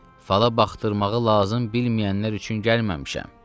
Fala baxdırmağı lazım bilməyənlər üçün gəlməmişəm.